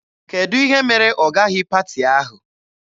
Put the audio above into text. Kedụ ihe mere ọ gaghị paati ahụ?